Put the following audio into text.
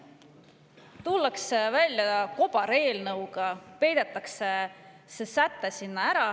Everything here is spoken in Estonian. Tullakse välja kobareelnõuga, peidetakse see säte sinna ära.